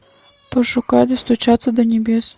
пошукай достучаться до небес